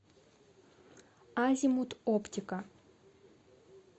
азимут оптика